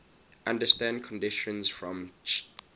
under standard conditions from ch